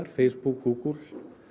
Facebook Google